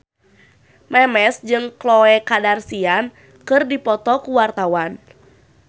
Memes jeung Khloe Kardashian keur dipoto ku wartawan